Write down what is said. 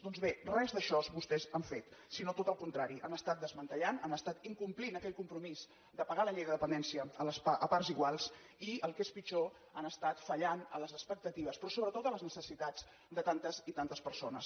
doncs bé res d’això vostès han fet sinó tot el contrari han estat desmantellant han estat incomplint aquell compromís de pagar la llei de dependència a parts iguals i el que és pitjor han estat fallant a les expectatives però sobretot a les necessitats de tantes i tantes persones